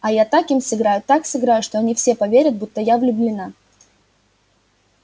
а я так им сыграю так сыграю что они все поверят будто я влюблена